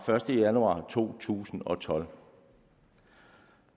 første januar to tusind og tolv